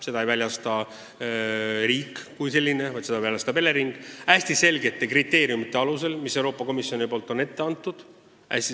Seda ei väljasta riik kui selline, seda väljastab Elering, lähtudes hästi selgetest kriteeriumidest, mis Euroopa Komisjon on ette andnud.